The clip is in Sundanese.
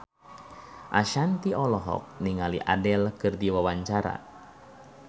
Ashanti olohok ningali Adele keur diwawancara